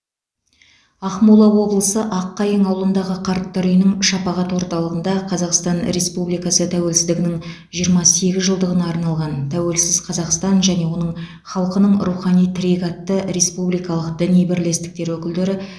ақмола облысы аққайың ауылындағы қарттар үйінің шапағат орталығында қазақстан республикасы тәуелсіздігінің жиырма сегіз жылдығына арналған тәуелсіз қазақстан және оның халқының рухани тірегі атты республикалық діни бірлестіктер өкілдері